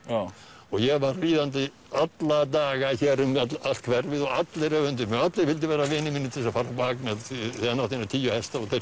og ég var ríðandi alla daga um allt hverfið og allir öfunduðu mig og allir vildu vera vinir mínir til að fara á bak því hann átti eina tíu hesta